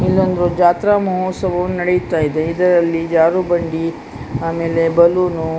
ಇಲ್ಲೊಂದು ಜಾತ್ರಾ ಮಹೋತ್ಸವವು ನಡೆಯುತ್ತಾ ಇದೆ ಇದರಲ್ಲಿ ಜಾರುಬಂಡಿ ಆಮೇಲೆ ಬಲೂನು --